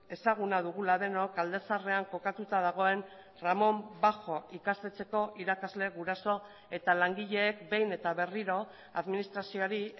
ezaguna dugula denok alde zaharrean kokatuta dagoen ramón bajo ikastetxeko irakasle guraso eta langileek behin eta berriro administrazioari